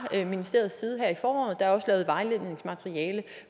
ministeriets side her i foråret der er også lavet vejledningsmateriale